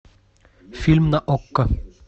фильм на окко